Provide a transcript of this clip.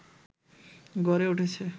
গড়ে উঠেছে